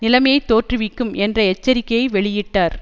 நிலைமையைத் தோற்றுவிக்கும் என்ற எச்சரிக்கையை வெளியிட்டார்